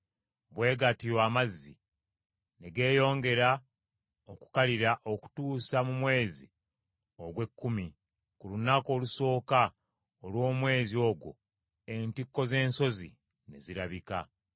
Bwe gatyo amazzi ne geeyongera okukalira okutuusa mu mwezi ogw’ekkumi, ku lunaku olusooka olw’omwezi ogwo entikko z’ensozi ne zirabika.